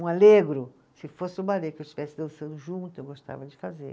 Um alegro, se fosse um balê que eu estivesse dançando junto, eu gostava de fazer.